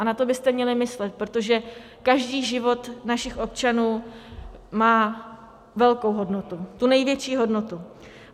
A na to byste měli myslet, protože každý život našich občanů má velkou hodnotu, tu největší hodnotu.